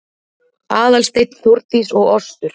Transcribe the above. Aðalsteinn, Þórdís og Ostur